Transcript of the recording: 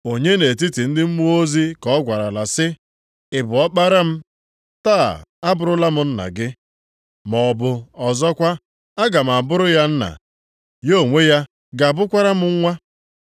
Onye nʼetiti ndị mmụọ ozi ka ọ gwarala sị, “Ị bụ Ọkpara m. Taa abụrụla m Nna gị” + 1:5 \+xt Abụ 2:7\+xt*? Maọbụ ọzọkwa, “Aga m abụrụ ya Nna, ya onwe ya ga-abụkwara m Nwa” + 1:5 \+xt 2Sa 7:14; 1Ih 17:13\+xt*?